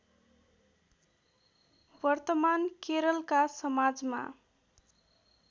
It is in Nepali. वर्तमान केरलका समाजमा